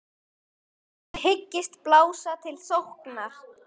Þið hyggist blása til sóknar?